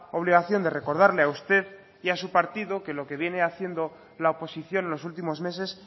obligación de recordarle a usted y a su partido que lo que viene haciendo la oposición en los últimos meses